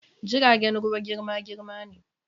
jiragen ruwa girma-girma ne.